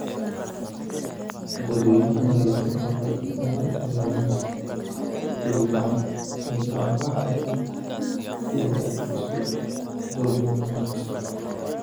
Dadweynaha ayaa loogu baaqay inay ka fogaadaan is-gacan-qaadka iyo isku-duubnida mar kasta.